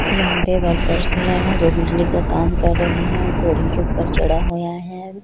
यहाँ पे वर्कर्स है जो बिजली का काम कर रहे है के ऊपर चढ़ा हुआ है।